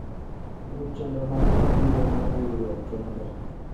Ruch chenro ma mabiro mar riwruok kende.